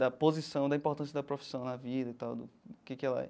Da posição, da importância da profissão na vida e tal, do que que ela é.